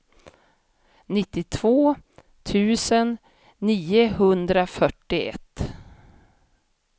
nittiotvå tusen niohundrafyrtioett